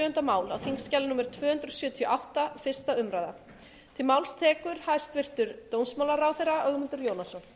hæstvirtur forseti ég mæli hér fyrir frumvarpi til laga um breytingu á lögum um landsdóm